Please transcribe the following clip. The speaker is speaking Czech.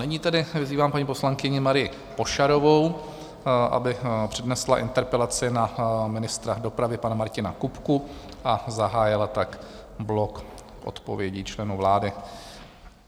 Nyní tedy vyzývám paní poslankyni Marii Pošarovou, aby přednesla interpelaci na ministra dopravy pana Martina Kupku a zahájila tak blok odpovědí členů vlády.